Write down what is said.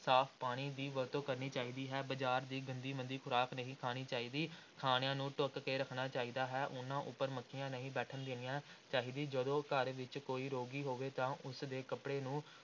ਸਾਫ਼ ਪਾਣੀ ਦੀ ਵਰਤੋਂ ਕਰਨੀ ਚਾਹੀਦੀ ਹੈ, ਬਾਜ਼ਾਰ ਦੀ ਗੰਦੀ ਮੰਦੀ ਖ਼ੁਰਾਕ ਨਹੀਂ ਖਾਣੀ ਚਾਹੀਦੀ, ਖਾਣਿਆਂ ਨੂੰ ਢੱਕ ਕੇ ਰੱਖਣਾ ਚਾਹੀਦਾ ਹੈ, ਉਨ੍ਹਾਂ ਉੱਪਰ ਮੱਖੀਆਂ ਨਹੀਂ ਬੈਠਣ ਦੇਣੀਆਂ ਚਾਹੀਦੀ, ਜਦੋਂ ਘਰ ਵਿਚ ਕੋਈ ਰੋਗੀ ਹੋਵੇ ਤਾਂ ਉਸ ਦੇ ਕੱਪੜੇ ਨੂੰ